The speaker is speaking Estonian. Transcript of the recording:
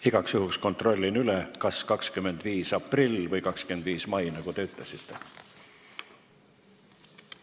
Igaks juhuks kontrollin üle: kas 25. aprill või 25. mai, nagu te ütlesite?